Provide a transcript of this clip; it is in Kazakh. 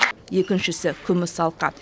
екіншісі күміс алқа